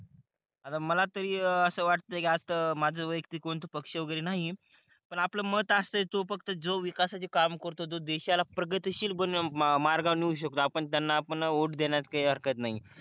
आता मला तरी असं वाटतंय कि आता माझं वयक्तिक कोणतं पक्ष वगैरे नाही पण आपला मत असा आहे कि जो फक्त विकासाची काम करतोय जो देशाला प्रगतिशील बनव आं मार्गावर नेऊ शकतो आपण त्यांना आपण वोट देण्यात काही हरकत नाही.